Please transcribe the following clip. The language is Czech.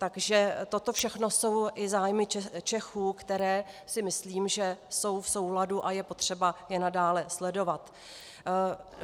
Takže toto všechno jsou i zájmy Čechů, které si myslím, že jsou v souladu, a je potřeba je nadále sledovat.